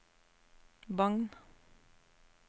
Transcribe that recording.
Bagn